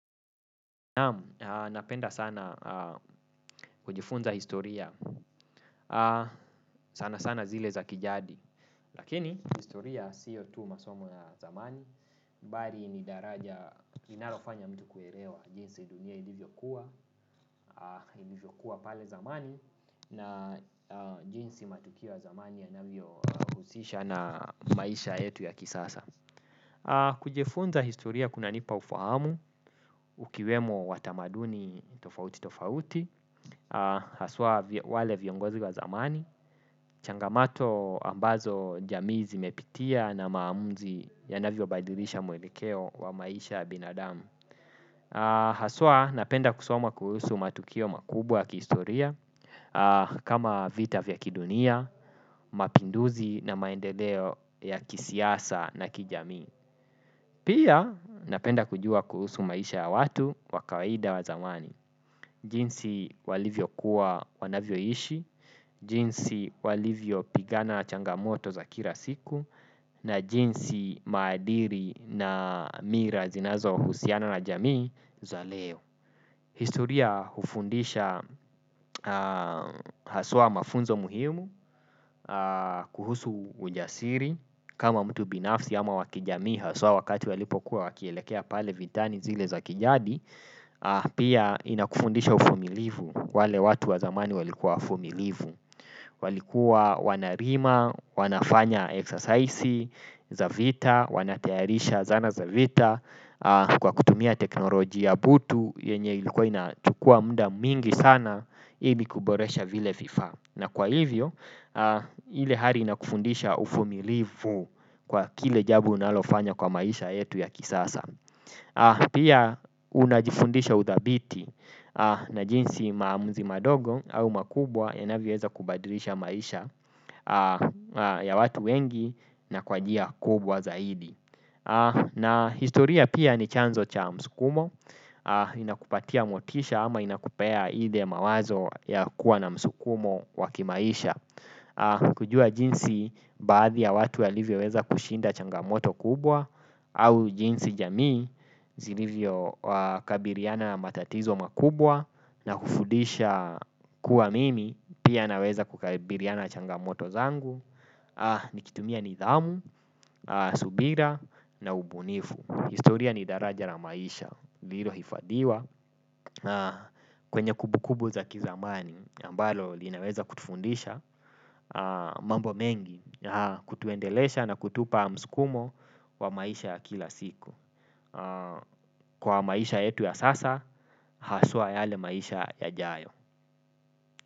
Naam napenda sana kujifunza historia sana sana zile za kijadi. Lakini historia siyo tu masomo ya zamani bali ni daraja inalofanya mtu kuelewa jinsi dunia ilivyokua ilivyokua pale zamani na jinsi matukio ya zamani yanavyohusisha na maisha yetu ya kisasa. Kujifunza historia kunanipa ufahamu ukiwemo watamaduni tofauti tofauti. Haswa wale viongozi wa zamani changamato ambazo jamii zimepitia na maamuzi yanavyobadilisha mwelekeo wa maisha binadamu. Haswa napenda kusoma kuhusu matukio makubwa kihistoria. Kama vita vya kidunia, mapinduzi na maendeleo ya kisiasa na kijami. Pia napenda kujua kuhusu maisha ya watu wa kawaida wa zamani. Jinsi walivyokuwa wanavyoishi, jinsi walivyopigana changamoto za kila siku, na jinsi maadili na mila zinazohusiana na jamii za leo. Historia hufundisha haswa mafunzo muhimu, kuhusu ujasiri, kama mtu binafsi ama wa kijami haswa wakati walipokuwa wakielekea pale vitani zile za kijadi, pia inakufundisha uvumilivu. Wale watu wa zamani walikuwa wavumilivu. Walikuwa wanalima, wanafanya eksersaisi, za vita, wanatayarisha zana za vita kwa kutumia teknolojia butu yenye ilikuwa inatukua muda mingi sana imi kuboresha vile vifa. Na kwa hivyo, hile hari inakufundisha ufumilivu kwa kile jambo unalofanya kwa maisha yetu ya kisasa. Pia unajifundisha uthabiti na jinsi maamuzi madogo au makubwa yanavyoweza kubadrisha maisha ya watu wengi na kwa njia kubwa zaidi. Na historia pia ni chanzo cha msukumo inakupatia motisha ama inakupaya ile mawazo ya kuwa na msukumo wa kimaisha. Kujua jinsi baadhi ya watu yalivyoweza kushinda changamoto kubwa au jinsi jamii zilivyokabiriana matatizo makubwa na kufudisha kuwa mimi pia naweza kukabiriana na changamoto zangu nikitumia nidhamu, subira na ubunifu historia ni daraja la maisha lilohifadiwa. Kwenye kumbukumbu za kizamani ambalo linaweza kutufundisha mambo mengi kutuendelesha na kutupa msukumo wa maisha kila siku. Kwa maisha yetu ya sasa, haswa yale maisha yajayo.